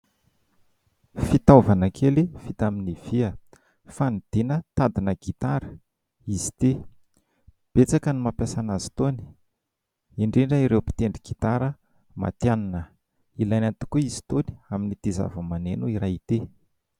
Fitaovana kely vita amin'ny vy, fanidiana tadina gitara izy ity, betsaka ny mampiasa an'azy itony indrindra ireo mpitendry gitara matianina; ilaina tokoa izy itony amin'ity zavamaneno iray ity.